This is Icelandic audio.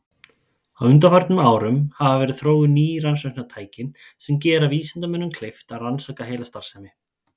Á undanförnum árum hafa verið þróuð ný rannsóknartæki sem gera vísindamönnum kleift að rannsaka heilastarfsemi.